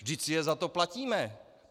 Vždyť si je za to platíme.